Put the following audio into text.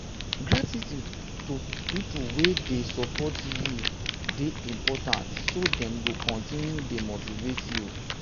gratitude to pipo wey de support wey de support you de important so that dem go continue to de motivate you